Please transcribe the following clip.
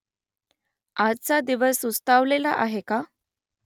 आजचा दिवस सुस्तावलेला आहे का ?